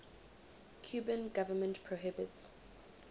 cuban government prohibits